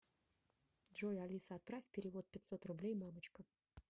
джой алиса отправь перевод пятьсот рублей мамочка